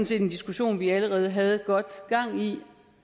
set en diskussion vi allerede havde godt gang